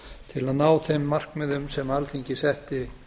til að ná þeim markmiðum sem alþingi setti